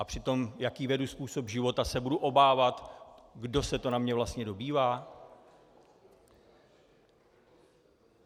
A při tom, jaký vedu způsob života, se budu obávat, kdo se to na mě vlastně dobývá?